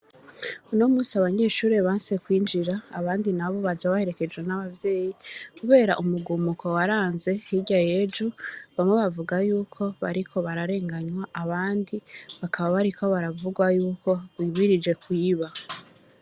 Uno musi abanyeshurire banse kwinjira abandi na bo baja baherekejwe n'abavyeyi, kubera umugumuko waranze hirya yeju bamwe bavuga yuko bariko bararenganywa abandi bakaba bariko baravugwa yuko wimirije kwiba.